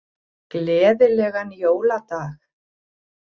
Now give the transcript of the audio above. Gleðilegan jóladag.